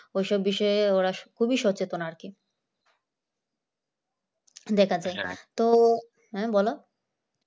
ওই সব বিষয়ে ওরা খুবই সচেতন আর কি দেখা যায় তো হ্যাঁ বলো